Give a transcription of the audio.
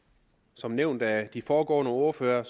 som nævnt af de foregående ordførere